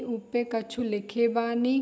उ पे कछु लिखे बानी।